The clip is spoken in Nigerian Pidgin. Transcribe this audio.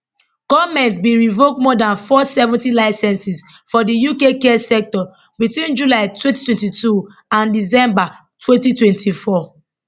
goment bin revoke more dan 470 licences for di uk care sector between july 2022 and december 2024